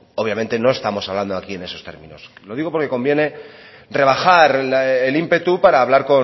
obviamente no estamos hablando aquí en esos términos lo digo porque conviene rebajar el ímpetu para hablar